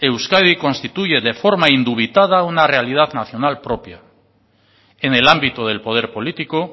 euskadi constituye de forma indubitada una realidad nacional propia en el ámbito del poder político